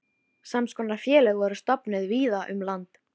Sams konar félög voru stofnuð víða um land.